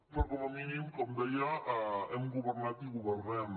però com a mínim com deia hem governat i governem